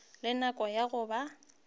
le nako ya go ba